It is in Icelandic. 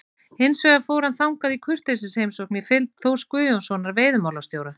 Hins vegar fór hann þangað í kurteisisheimsókn í fylgd Þórs Guðjónssonar veiðimálastjóra.